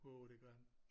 Wow det gør han